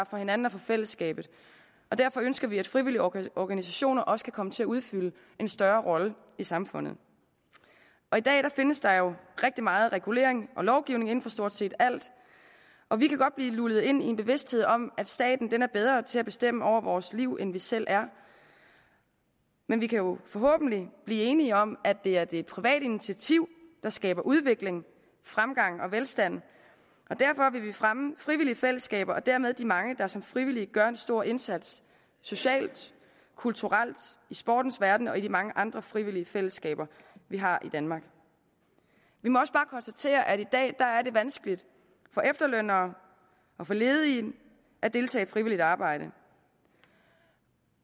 for hinanden og for fællesskabet og derfor ønsker vi at frivillige organisationer også kan komme til at udfylde en større rolle i samfundet i dag findes der jo rigtig meget regulering og lovgivning inden for stort set alt og vi kan godt blive lullet ind i en bevidsthed om at staten er bedre til at bestemme over vores liv end vi selv er men vi kan forhåbentlig blive enige om at det er det private initiativ der skaber udvikling fremgang og velstand derfor vil vi fremme frivillige fællesskaber og dermed de mange der som frivillige gør en stor indsats socialt kulturelt i sportens verden og i de mange andre frivillige fællesskaber vi har i danmark vi må også bare konstatere at det i dag er vanskeligt for efterlønnere og for ledige at deltage i frivilligt arbejde